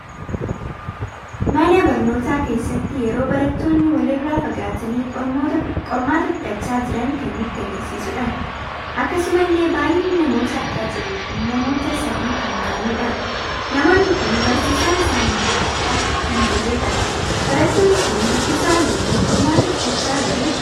Mana barnoota keesaatti yeroo barattoonni waliirra fagaatani qormaata fudhachaa jiran kan nutti agarsiisuudha. Akkasumallee baay'inni namoota argaa jirru kun namoota sadii kan ta'anidha. Namoonni kun barsiisan isaanille argamaa kan hin jirredha. barattoonni kun dubbisa jirumo, qormaata fudhachaa jiru?